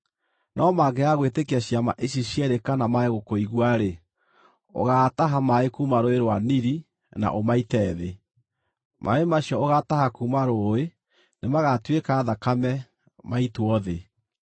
No mangĩaga gwĩtĩkia ciama ici cierĩ kana mage gũkũigua-rĩ, ũgaataha maaĩ kuuma Rũũĩ rwa Nili na ũmaite thĩ. Maaĩ macio ũgaataha kuuma rũũĩ nĩmagatuĩka thakame maitwo thĩ.”